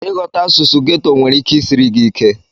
Ịghọta asụsụ ghetto nwere ike isiri gị ike.